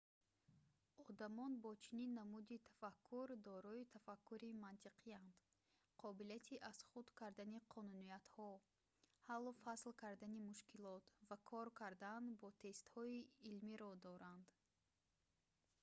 одамон бо чунин намуди тафаккур дорои тафаккури мантиқиянд қобилияти аз худ кардани қонуниятҳо ҳаллу фасл кардани мушкилот ва кор кардан бо тестҳои илмиро доранд